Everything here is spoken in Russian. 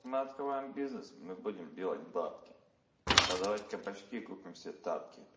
мы открываем бизнес мы будем делать бабки продавать кабачки и купим все тапки